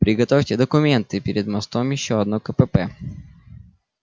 приготовьте документы перед мостом ещё одно кпп